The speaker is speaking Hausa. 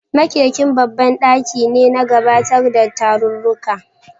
Makeken babban daki ne na gabatarwa da tarurruka.